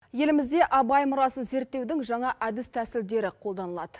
елімізде абай мұрасын зерттеудің жаңа әдіс тәсілдері қолданылады